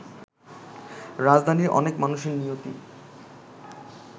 রাজধানীর অনেক মানুষের নিয়তি